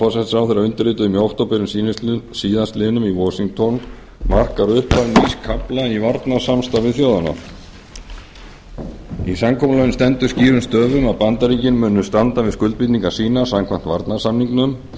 ég undirrituðum í október síðastliðinn í washington markar upphaf nýs kafla í varnarsamstarfi þjóðanna í samkomulaginu stendur skýrum stöfum að bandaríkin muni standa við skuldbindingar sínar samkvæmt varnarsamningnum